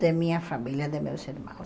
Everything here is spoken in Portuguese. de minha família, de meus irmãos.